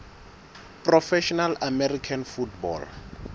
professional american football